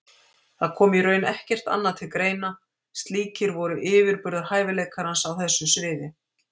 Það kom í raun ekkert annað til greina, slíkir voru yfirburðahæfileikar hans á þessu sviði.